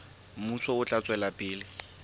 mmuso o tla tswela pele